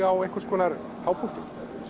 á einhvers konar hápunkti